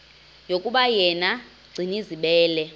yokuba yena gcinizibele